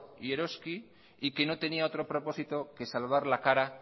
y eroski y que no tenía otro propósito que salvar la cara